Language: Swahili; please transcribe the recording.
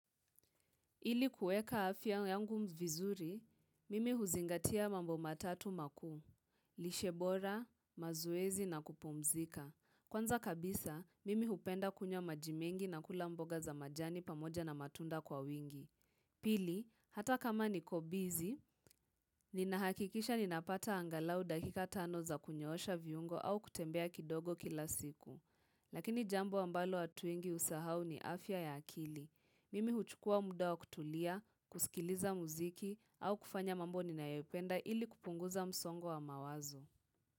Ili kuweka afya yangu vizuri, mimi huzingatia mambo matatu makuu, lishe bora, mazoezi na kupumzika. Kwanza kabisa, mimi hupenda kunywa maji mengi na kula mboga za majani pamoja na matunda kwa wingi. Pili, hata kama niko bizi, ninahakikisha ninapata angalau dakika tano za kunyoosha viungo au kutembea kidogo kila siku. Lakini jambo ambalo watu wengi husahau ni afya ya akili. Mimi huchukua muda wa kutulia, kusikiliza muziki, au kufanya mambo ninayopenda ili kupunguza msongo wa mawazo.